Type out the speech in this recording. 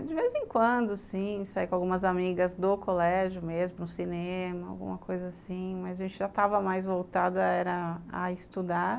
De vez em quando, sim, sair com algumas amigas do colégio mesmo, no cinema, alguma coisa assim, mas a gente já estava mais voltada era a estudar.